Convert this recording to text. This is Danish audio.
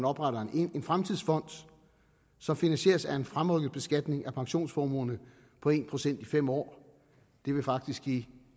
oprettes en fremtidsfond som finansieres af en fremrykket beskatning af pensionsformuerne på en procent i fem år det vil faktisk give